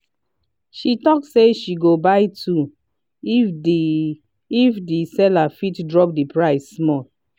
she talk say she go buy two if the if the seller fit drop the price small.